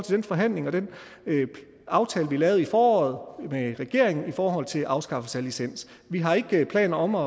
den forhandling og den aftale vi lavede i foråret med regeringen i forhold til afskaffelse af licens vi har ikke planer om at